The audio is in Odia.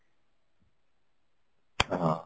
ହଁ